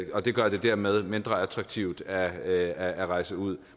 og det gør det dermed mindre attraktivt at at rejse ud